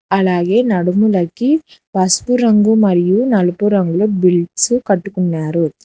అలాగే నడుములకి పసుపు రంగు మరియు నలుపు రంగులో బెల్ట్సు కట్టుకున్నారు.